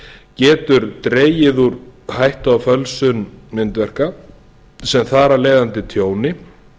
getur dregið úr hættu á fölsun myndverka sem þar af leiðandi tjóni